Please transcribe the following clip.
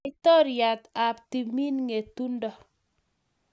Laitoriat ap timin ng'etundo.